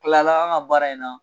Tilala an ka baara in na.